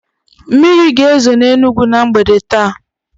Mmiri ga-ezo n'Enugwu na mgbede taa